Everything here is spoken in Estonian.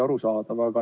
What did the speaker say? Arusaadav.